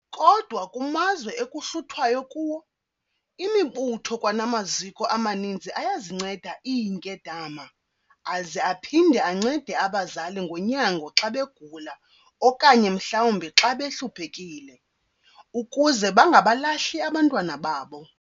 Kodwa kumazwe ekuhluthwayo kuwo, imibutho kwanamaziko amaninzi ayazinceda iinkedama aze aphinde ancede abazali ngonyango xa begula okanye mhlawumbi xa behluphekile, ukuze bangabalahli abantwana babo.